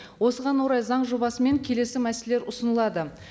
осыған орай заң жобасымен келесі мәселелер ұсынылады